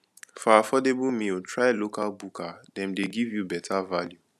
for affordable meal try local bukka dem dey give you better value